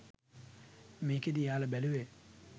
මේකෙදි එයාලා බැලූවේ